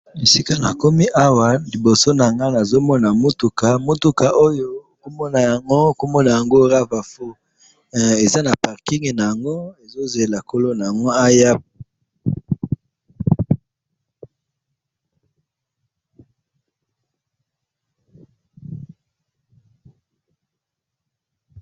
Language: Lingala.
Na moni mutuka ezali na parking, kombo naya ngo Rava 4,ezo zela mukolo na yango aya.